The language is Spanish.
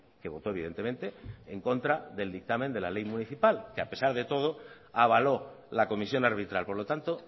que voto evidentemente en contra del dictamen de la ley municipal que a pesar de todo avaló la comisión arbitral por lo tanto